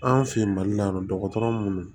Anw fɛ yen mali la yan nɔ dɔgɔtɔrɔ minnu